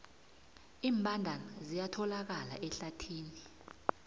iimbandana ziyatholakala ehlathini